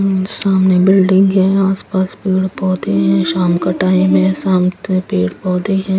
और सामने बिल्डिंग है आसपास पेड़ पौधे हैं शाम का टाइम है शाम से पेड़ पौधे हैं.